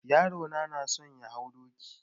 Yaro na na so ya hau doki.